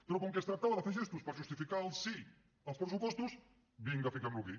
però com que es tractava de fer gestos per justificar el sí als pressupostos vinga fiquem lo aquí